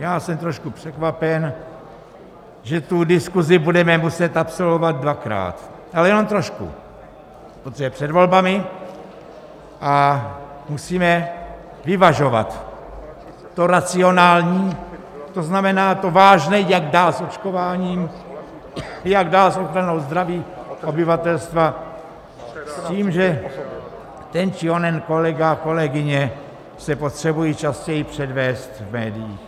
Já jsem trošku překvapen, že tu diskusi budeme muset absolvovat dvakrát, ale jenom trošku, protože je před volbami a musíme vyvažovat to racionální, to znamená, to vážné, jak dál s očkováním, jak dál s ochranou zdraví obyvatelstva, s tím, že ten či onen kolega, kolegyně se potřebují častěji předvést v médiích.